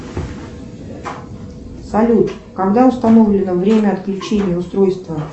салют когда установлено время отключения устройства